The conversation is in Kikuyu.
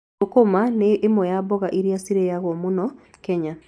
Sukuma wiki nĩ ĩmwe ya mboga iria ciaragio mũno Kenya.